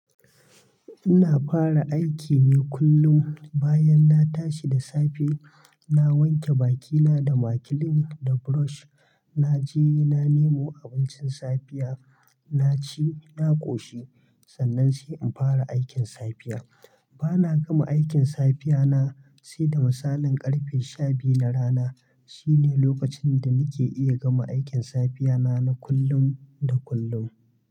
Ina fara aiki ne kullum bayan na tashi da safe, na wanke bakina da makilin da brush, na je na nemo abincin safiya, na ci, na ƙoshi, sannan sai in fara aikin safiya. Bana gama aikin safiyana sai da misalin ƙarfe sha biyu na rana. Shine lokacin da nake iya gama aikin safiyana na kullum da kullum.